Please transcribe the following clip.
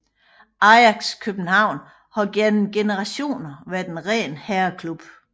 Ajax København har igennem generationer været en ren herreklub